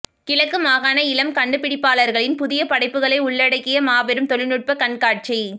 கிழக்கு மாகாண இளம் கண்டுபிடிப்பபாளர்களின் புதிய படைப்புக்களை உள்ளடக்கிய மாபெரும் தொழில்நுட்பக் கண்காட்சி